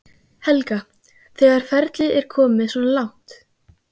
Helga: Þegar ferlið er komið svona langt?